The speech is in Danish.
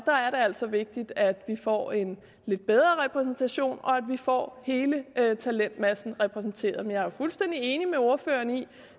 der er det altså vigtigt at vi får en lidt bedre repræsentation og at vi får hele talentmassen repræsenteret men jeg er fuldstændig enig med ordføreren i